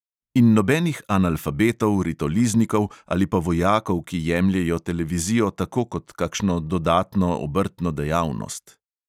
In nobenih analfabetov, ritoliznikov ali pa vojakov, ki jemljejo televizijo tako kot kakšno dodatno obrtno dejavnost.